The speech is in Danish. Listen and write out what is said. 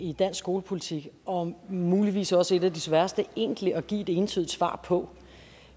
i dansk skolepolitik og muligvis også et af de sværeste egentlig at give et entydigt svar på